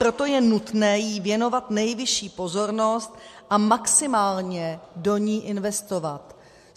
Proto je nutné jí věnovat nejvyšší pozornost a maximálně do ní investovat.